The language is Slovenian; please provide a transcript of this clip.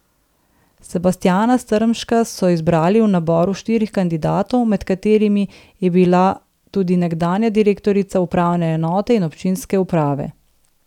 Sebastjana Strmška so izbrali v naboru štirih kandidatov, med katerimi je bila tudi nekdanja direktorica upravne enote in občinske uprave.